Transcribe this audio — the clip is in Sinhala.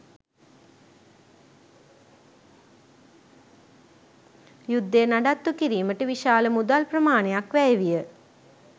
යුද්ධය නඩත්තුකිරීමට විශාල මුදල් ප්‍රමාණයක් වැය විය